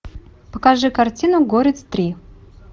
покажи картину горец три